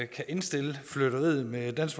kan indstille flirteriet med dansk